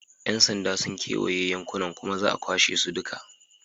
Yan sanda sun kewaye yankunan kuma za a kwashe su duka.